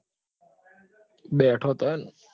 બેઠો હતો એમ?